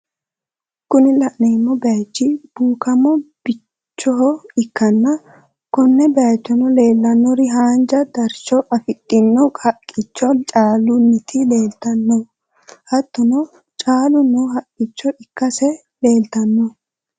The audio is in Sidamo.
Kuni lanemo bayich bukamo biycho ikkanna. Kone bayicho lelanori hanja daricho afidhino haqicho caaluniti leelitanno hattono callu noo haqicho ikkase lelitanno